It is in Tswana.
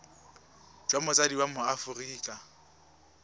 jwa motsadi wa mo aforika